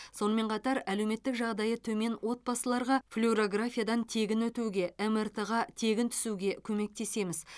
сонымен қатар әлеуметтік жағдайы төмен отбасыларға флюрографиядан тегін өтуге мрт ға тегін түсуге көмектесеміз